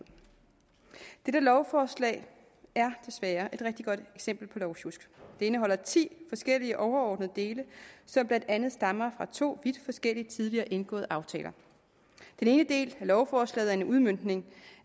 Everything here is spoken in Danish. dette lovforslag er desværre et rigtig godt eksempel på lovsjusk det indeholder ti forskellige overordnede dele som blandt andet stammer fra to vidt forskellige tidligere indgåede aftaler den ene del af lovforslaget er en udmøntning